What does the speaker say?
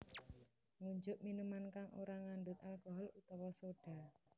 Ngunjuk minuman kang ora ngandhut alcohol utawa soda